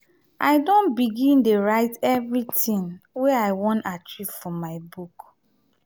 i don begin dey write everytin wey i wan achieve for my book.